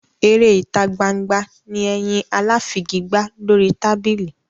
Eré ìtagbangba ni ẹyin aláfigigbá lórí tábìlì.